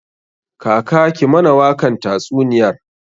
Kaka ki mana wakan tatsuniyar!